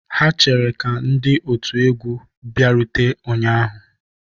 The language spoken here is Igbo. Ha chere ka ndị otu egwu bịarute ụnyahụ